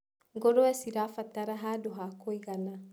Ngũrũwe cirabatara handũ ha kũigana.